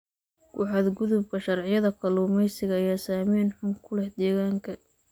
Ku xadgudubka sharciyada kalluumeysiga ayaa saameyn xun ku leh deegaanka.